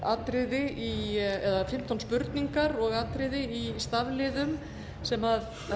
atriði eða fimmtán spurningar og atriði í stafliðum sem